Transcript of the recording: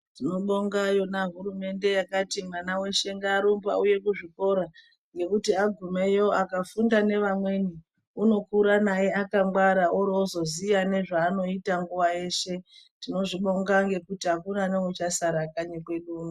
Tinobonga yona hurumende yakati mwana weshe ngarumbe auye kuzvikora ngekuti agumeyo akafunda nevamweni unokura naye akangwara orozoziya nezvanoita nguwa yeshe. Tinozvibonga ngekuti akuna neuchasara kanyi kwedu uno.